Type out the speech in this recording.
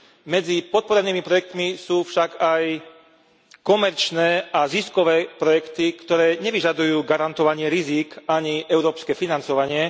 Medzi podporenými projektami sú však aj komerčné a ziskové projekty, ktoré nevyžadujú garantovanie rizík ani európske financovanie.